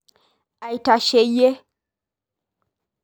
Aitasheyie